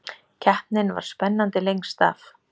Keppnin var spennandi lengst af